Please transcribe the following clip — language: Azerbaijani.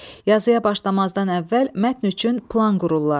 Yazıya başlamazdan əvvəl mətn üçün plan qururlar.